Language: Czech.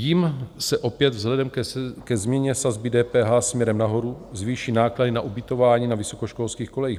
Jim se opět vzhledem ke změně sazby DPH směrem nahoru zvýší náklady na ubytování na vysokoškolských kolejích.